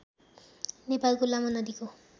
नेपालको लामो नदीको